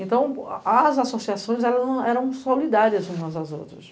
Então, as associações eram solidárias umas às outras.